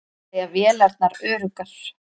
Segja vélarnar öruggar